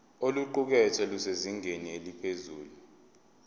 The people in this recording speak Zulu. oluqukethwe lusezingeni eliphezulu